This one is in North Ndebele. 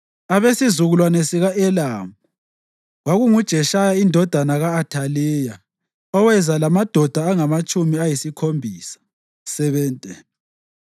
abesizukulwane sika-Elamu, kwakunguJeshaya indodana ka-Athaliya, oweza lamadoda angamatshumi ayisikhombisa (70);